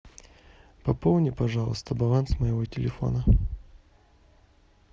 пополни пожалуйста баланс моего телефона